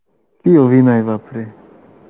কি অভিনয় বাপরে